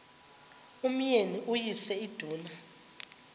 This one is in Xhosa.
umyeni uyise iduna